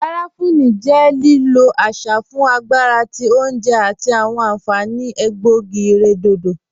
Garafuni jẹ lílọ̀ àṣà fún agbàrà tí ọ̀unjè àti awọn ànfaní ègbọ̀ogí-ìrẹ̀dọ̀dọ̀